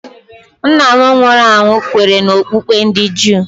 Nna m nwụrụ anwụ kweere n'okpukpe ndị Juu.